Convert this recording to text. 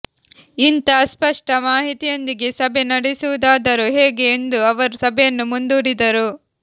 ಇಂಥ ಅಸ್ಪಷ್ಟ ಮಾಹಿತಿಯೊಂದಿಗೆ ಸಭೆ ನಡೆಸುವುದಾದರೂ ಹೇಗೆ ಎಂದು ಅವರು ಸಭೆಯನ್ನು ಮುಂದೂಡಿದರು